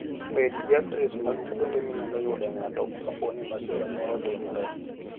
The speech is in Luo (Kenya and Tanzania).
Bed gi adres mag kuonde minyalo yude ng'ato kapo ni masira moro otimore.